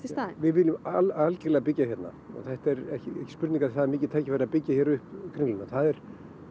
í staðinn við viljum algjörlega byggja hérna þetta er ekki spurning um það það er mikið tækifæri að byggja upp Kringluna það er